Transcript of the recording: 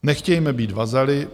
Nechtějme být vazaly.